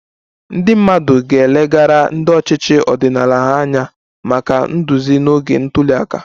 Ndị mmadụ ga-elegara ndị ọchịchị ọdịnala ha anya maka nduzi n'oge ntuli aka